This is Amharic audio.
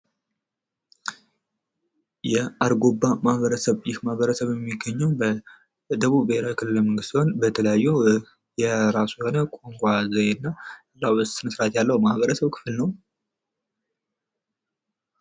የአርጎባ ማህበረሰብ የሚገኘው በደቡብ ክልል ሲሆን የራስ የሆነ የቋንቋ ዘዬና ስነ ስርዓት ያለው የማህበረሰብ ክፍል ነው።